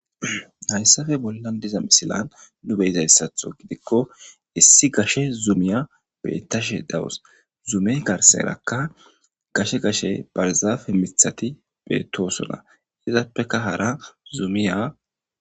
hayssafe bollan diza misilan nu beyizayssatho gidikko issi gashe zuumiya bettashe dawus zuume karserakka gashe gashe barzaafe mithati beettosona izappeka hara zuumiya